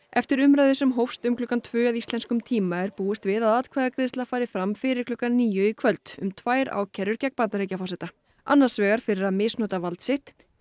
eftir umræðu sem hófst um klukkan tvö að íslenskum tíma er búist við að atkvæðagreiðsla fari fram fyrir klukkan níu í kvöld um tvær ákærur gegn Bandaríkjaforseta annars vegar fyrir að misnota vald sitt